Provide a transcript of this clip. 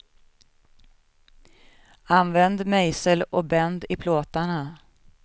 Använd mejsel och bänd i plåtarna.